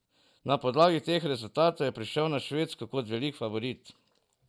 Na podlagi teh rezultatov je prišel na Švedsko kot velik favorit.